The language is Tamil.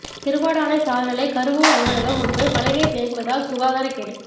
திருவாடானை சாா்நிலை கருவூல அலுவலகம் முன்பு மழை நீா் தேங்குவதால் சுகாதரகேடு